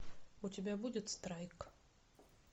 у тебя будет страйк